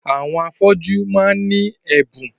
Àwọn afọ́jú máà ń ní ẹ̀bùn.